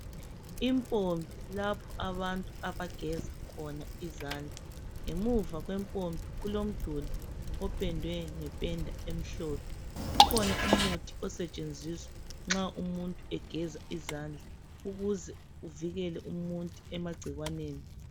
Impompi lapho abantu bageza khona izandla. Ngemuva kwempompi kulomduli opendwe ngependa emhlophe. Kukhona umuthi osetshenziswa nxa umuntu egeza izandla ukuze avikele umuntu emagcikwane.